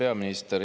Hea peaminister!